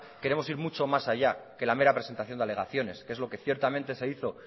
queremos ir mucho más allá que la mera presentación de alegaciones que es lo que ciertamente se hizo